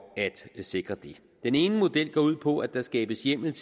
at sikre det den ene model går ud på at der skabes hjemmel